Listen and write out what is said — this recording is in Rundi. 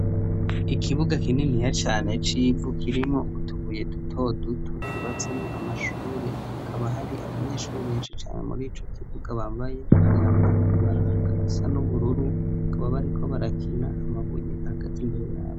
Ikibuga kinini ya cane c'ivu kirimwo utubuye dutoduto cubatseno amashure hakaba hari abanyeshure benshi cane muri co kivuga bambaye imyambaro ibaranga isa n'ubururu kuba bariko barakina amabuyi agaze imbere yabo.